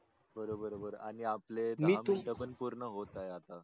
बर बर बर आणि आपले दहा मिनीट पन पूर्ण होत आहे आता